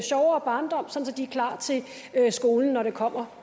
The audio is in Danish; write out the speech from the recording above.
de er klar til skolen når det kommer